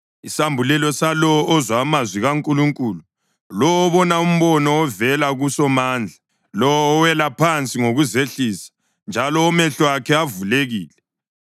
isambulelo salowo ozwa amazwi kaNkulunkulu, lowo obona umbono ovela kuSomandla, lowo owela phansi ngokuzehlisa, njalo omehlo akhe avulekile: